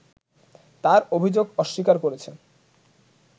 তার অভিযোগ অস্বীকার করেছে